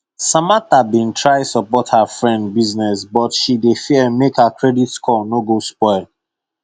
samantha been try support her friend business but she dey fear make her credit score no go spoil